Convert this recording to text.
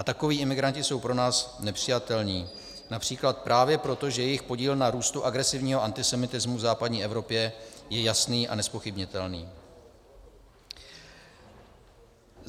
A takoví imigranti jsou pro nás nepřijatelní například právě proto, že jejich podíl na růstu agresivního antisemitismu v západní Evropě je jasný a nezpochybnitelný.